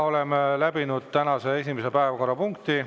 Oleme läbinud tänase esimese päevakorrapunkti.